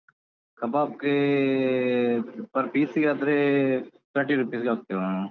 ಕಬಾಬ್ ಗೆ per piece ಗಾದ್ರೆ thirty rupees ಗೆ ಹಾಕ್ತೇವೆ ನಾವು.